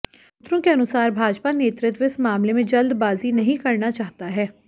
सूत्रों के अनुसार भाजपा नेतृत्व इस मामले में जल्दबाजी नहीं करना चाहता है